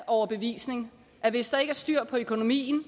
overbevisning at hvis der ikke er styr på økonomien